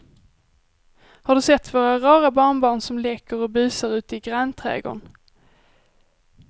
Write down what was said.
Har du sett våra rara barnbarn som leker och busar ute i grannträdgården!